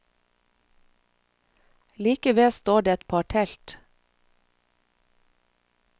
Like ved står det et par telt.